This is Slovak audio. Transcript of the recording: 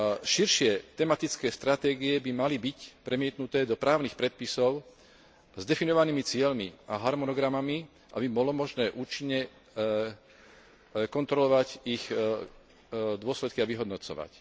Širšie tematické stratégie by mali byť premietnuté do právnych predpisov s definovanými cieľmi a harmonogramami, aby bolo možné účinne kontrolovať ich dôsledky a vyhodnocovať.